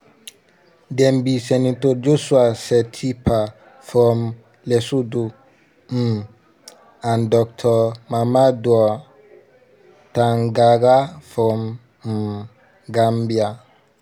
dem be senator joshua setipa from lesotho um and dr mamadou tangara from um gambia.